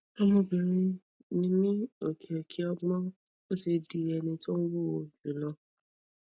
ọmọbìnrin mi ní ọkẹ ọkẹ ogbon ó ti di ẹni tó ń wúwo jù lọ